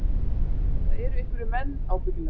Það eru einhverjir menn, ábyggilega